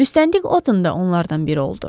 Müstəntiq Otan da onlardan biri oldu.